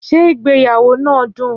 Ṣé ìgbéyàwó náà dùn?